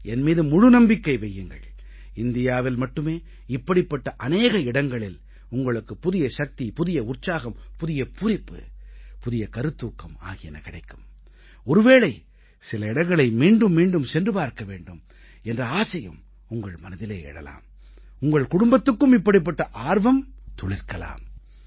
என் மீது முழுமையாக நம்பிக்கை வையுங்கள் இந்தியாவில் மட்டுமே இப்படிப்பட்ட அநேக இடங்களில் உங்களுக்கு புதிய சக்தி புதிய உற்சாகம் புதிய பூரிப்பு புதிய கருத்தூக்கம் ஆகியன கிடைக்கும் ஒருவேளை சில இடங்களை மீண்டும் மீண்டும் சென்று பார்க்க வேண்டும் என்ற ஆசையும் உங்கள் மனதிலே எழலாம் உங்கள் குடும்பத்துக்கும் இப்படிப்பட்ட ஆர்வம் துளிர்க்கலாம்